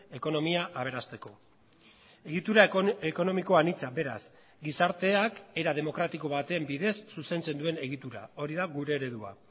ekonomia aberasteko egitura ekonomiko anitza beraz gizarteak era demokratiko baten bidez zuzentzen duen egitura hori da gure eredua